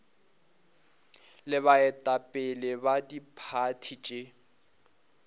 le baetapele ba diphathi tše